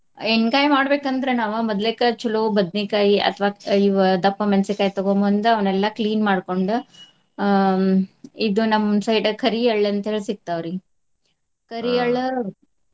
ಎಣ್ಗಾಯಿ ಮಾಡ್ಬೇಕ ಅಂದ್ರ ನಾವ ಮೊದ್ಲೆ ಕ~ ಚಲೋ ಬದ್ನಿಕಾಯಿ ಅಥ್ವ ಇವ್ ದಪ್ಪ ಮೆಣಸಿಕಾಯಿ ತಗೊಂಬಂದು ಅವ್ನೆಲ್ಲಾ clean ಮಾಡ್ಕೊಂಡ್ ಆ ಇದು ನಮ್ಮ side ಕರೀಎಳ್ಳ್ ಅಂತ್ಹೇಳಿ ಸಿಗ್ತಾವ್ರಿ. .